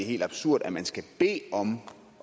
helt absurd at man skal bede om